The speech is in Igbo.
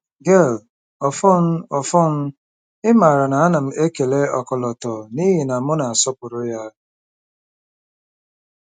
Gail: Ọfọn. Ọfọn, ị maara, a na m ekele ọkọlọtọ n'ihi na m na-asọpụrụ ya.